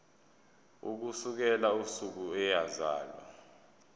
ukusukela usuku eyazalwa